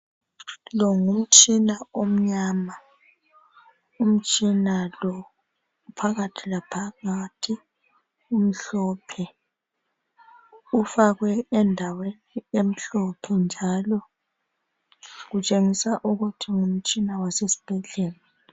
Longumtshina omnyama ,umtshinalo phakathilaphakathi umhlophe, ufakwe endaweni emhlophe njalo utshengisa ukuthi ngumtshina wasesibhedlela.